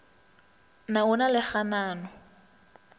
na o na le kganano